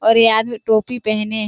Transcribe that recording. और ये आदमी टोपी पहने --